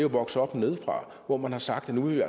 vokset op nedefra hvor man har sagt at nu vil